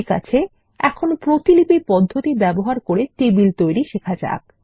ঠিক আছে এখন প্রতিলিপি পদ্ধতি ব্যবহার করে টেবিল তৈরি শেখা যাক